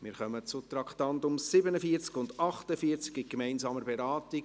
Wir kommen zu den Traktanden 47 und 48 in gemeinsamer Beratung.